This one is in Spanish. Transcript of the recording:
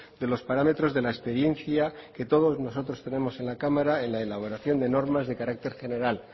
de los parámetros de la experiencia que todos nosotros tenemos en la cámara en la elaboración de normas de carácter general